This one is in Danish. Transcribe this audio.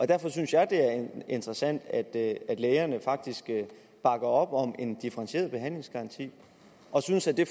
derfor synes jeg det er interessant at at lægerne faktisk bakker op om en differentieret behandlingsgaranti og synes at det